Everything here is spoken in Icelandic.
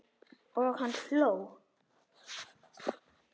Og hann hló.